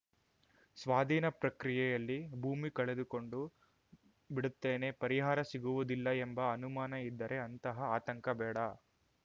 ಸ್ವಾಧೀನ ಪ್ರಕ್ರಿಯೆಯಲ್ಲಿ ಭೂಮಿ ಕಳೆದುಕೊಂಡು ಬಿಡುತ್ತೇನೆ ಪರಿಹಾರ ಸಿಗುವುದಿಲ್ಲ ಎಂಬ ಅನುಮಾನ ಇದ್ದರೆ ಅಂತಹ ಆತಂಕ ಬೇಡ